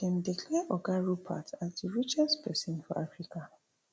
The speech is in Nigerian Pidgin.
dem declare oga rupert as di richest pesin for africa